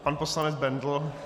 Pan poslanec Bendl.